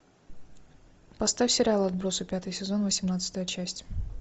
поставь сериал отбросы пятый сезон восемнадцатая часть